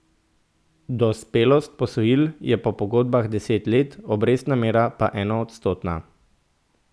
Dospelost posojil je po pogodbah deset let, obrestna mera pa enoodstotna.